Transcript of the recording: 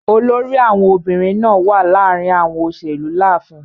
Olórí àwọn obìrin naa wa láàrin àwọn òṣèlú láàfin.